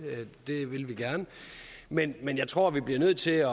det vil vi gerne men men jeg tror at vi bliver nødt til at